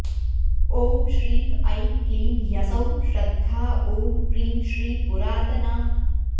ॐ श्रीं ऐं क्लीं ह्सौः श्रद्धा ॐ प्रीं श्री पुरातना